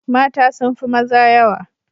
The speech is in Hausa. Mata sun fi maza yawa